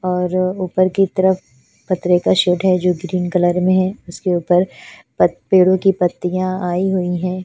और ऊपर की तरफ पतरे का शेड है जो ग्रीन कलर में है उसके ऊपर पेड़ों की पत्तियाँ आई हुई हैं।